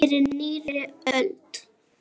Fyrir nýrri öld!